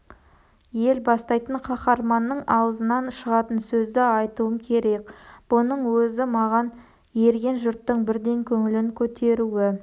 ел бастайтын қаһарманның аузынан шығатын сөзді айтуым керек бұның өзі маған ерген жұрттың бірден көңілін көтеруі